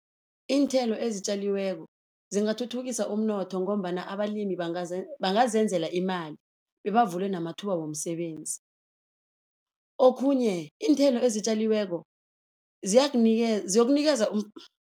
Iinthelo ezitjaliweko zingathuthukisa umnotho ngombana abalimi bangazenzela imali bebavule namathuba womsebenzi. Okhunye iinthelo ezitjaliweko ziyokunikeza